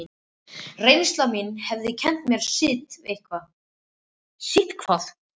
Reynsla mín hafði kennt mér sitthvað.